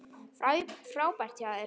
Frábært hjá þér!